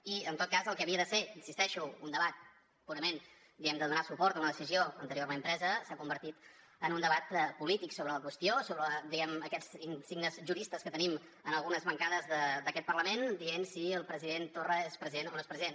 i en tot cas el que havia de ser hi insisteixo un debat purament diguem ne de donar suport a una decisió anteriorment presa s’ha convertit en un debat polític sobre la qüestió amb aquests insignes juristes que tenim en algunes bancades d’aquest parlament dient si el president torra és president o no és president